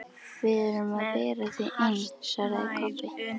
Við erum að bera þig inn, svaraði Kobbi.